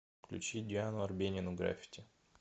включи диану арбенину граффити